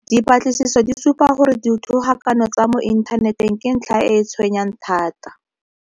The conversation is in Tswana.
Dipatlisiso di supa gore dithogakano tsa mo inthaneteng ke ntlha e e tshwenyang thata.